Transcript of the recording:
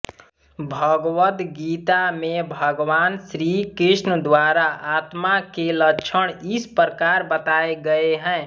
भगवद्गीता में भगवान श्रीकृष्ण द्वारा आत्मा के लक्षण इस प्रकार बताए गए हैं